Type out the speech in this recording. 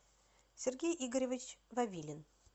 сергей игоревич вавилин